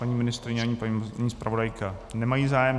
Paní ministryně ani paní zpravodajka nemají zájem.